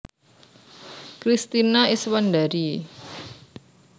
Kristina Iswandari